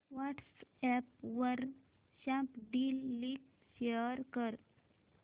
WhatsApp वर Snapdeal link share कर